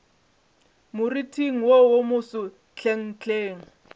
moriting wo wo moso hlenghleng